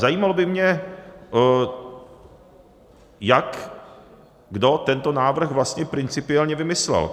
Zajímalo by mě, jak kdo tento návrh vlastně principiálně vymyslel.